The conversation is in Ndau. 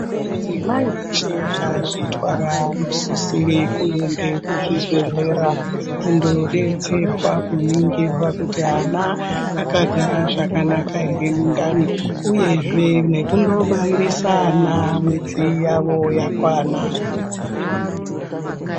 Madzimai eshe akazvitwara anosisire kuende kuzvibhedhlera kundodetserwa kuningirwa kuti ana akagara zvakanaka ere mundani uyezve nekundobairisa ana mwedzi yawo yakwana.